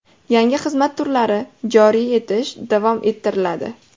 Yangi xizmat turlari joriy etish davom ettiriladi.